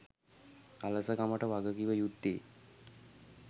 අලසකමට වගකිව යුත්තේ